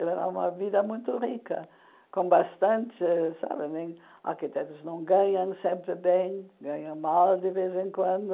Era uma vida muito rica, com bastante sabe nem... Arquitetos não ganham sempre bem, ganham mal de vez em quando.